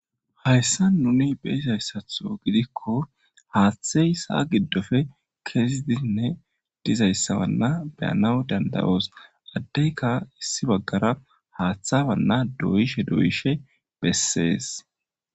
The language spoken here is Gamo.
Hayssa nuni beyizayssatho gidikko haaththey saa giddofe kezidinne dizayssawanna beyanaw dandayoos addeyka issi baggara haaththawanna doyishe doyishe bessees